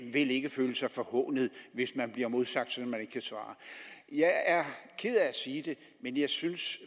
vil ikke føle sig forhånet hvis man bliver modsagt sådan at man ikke kan svare jeg er ked af at sige det men jeg synes